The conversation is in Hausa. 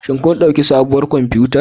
Shin kun ɗauki sabuwar kwamfutar?